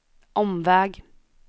omväg